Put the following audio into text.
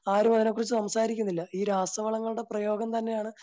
ആരും അതിനെകുറിച്ച് സംസാരിക്കുന്നില്ല. ഈ രാസവളങ്ങളുടെ പ്രയോഗം തന്നെയാണ്